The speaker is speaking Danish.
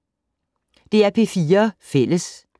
DR P4 Fælles